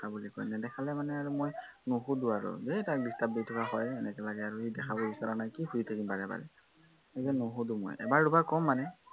নেদেখালে মানে আৰু মই নুসুধো আৰু, ঢেৰ তাক disturb দি থকা হয়, এনেকা লাগে আৰু, সি দেখাব বিচৰা নাই, কি সুধি থাকিম বাৰে বাৰে, সেইকাৰনে নুসুধো মই, এবাৰ দুৰাব কম মানে